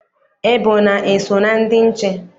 Ebona eso na ndị nche?